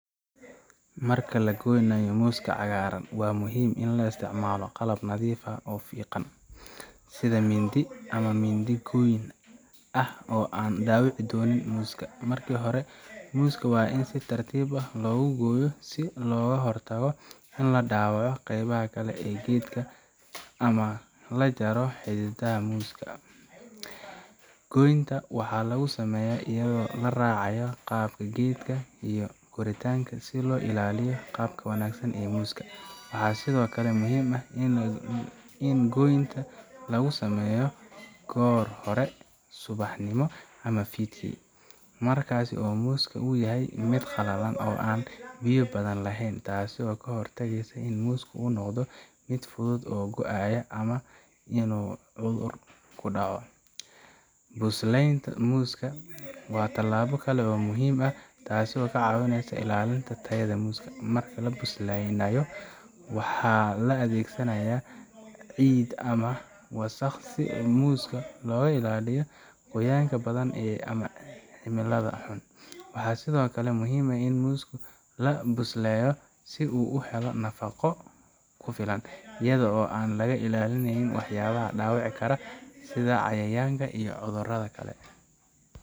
Marka la goynayo muska cagaaran, waa muhiim in la isticmaalo qalab nadiif ah oo fiiqan, sida mindi ama mindi goyn ah oo aan dhaawici doonin muska. Marka hore, muska waa in si tartiib ah loogu gooyo si looga hortago in la dhaawaco qaybaha kale ee geedka ama la jaro xididada muska. Goynta waxaa lagu sameeyaa iyadoo la raacayo qaabka geedka iyo korriinka, si loo ilaaliyo qaabka wanaagsan ee muska. Waxaa sidoo kale muhiim ah in goynta lagu sameeyo goor hore subaxnimo ama fiidkii, markaas oo muska uu yahay mid qallalan oo aan biyo badan lahayn, taasoo ka hortagaysa in muska uu noqdo mid fudud oo go'aya ama inuu cudur ku dhaco. Buslaynta muska waa tallaabo kale oo muhiim ah, taas oo ka caawisa ilaalinta tayada muska. Marka la buslaynayo, waxaa la adeegsanayaa ciid ama wasakh si muska looga ilaaliyo qoyaanka badan ama cimilada xun. Waxaa sidoo kale muhiim ah in muska la buslayo si uu u helo nafaqo ku filan, iyada oo aan laga ilaalin waxyaabaha dhaawici kara, sida cayayaanka ama cudurrada kale.